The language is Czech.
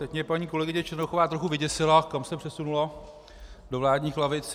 Teď mě paní kolegyně Černochová trochu vyděsila, kam se přesunula - do vládních lavic.